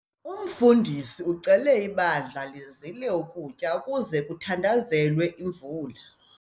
Umfundisi ucele ibandla ukuba lizile ukutya ukuze kuthandazelwe imvula.